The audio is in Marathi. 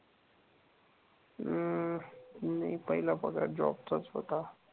हम्म. नाही पहिला पगार जॉब चाच होता.